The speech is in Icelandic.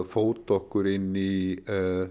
fóta okkur inn í